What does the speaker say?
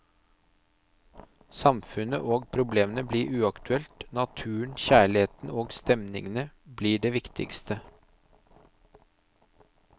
Samfunnet og problemene blir uaktuelt, naturen, kjærligheten og stemningene blir det viktige.